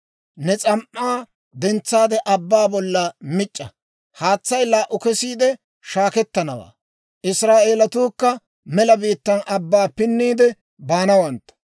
Ne s'am"aa dentsaade abbaa bolla mic'c'a; haatsay laa"u kesiide shaakettanawaa; Israa'eelatuukka mela biittaana abbaa pinniide baanawantta.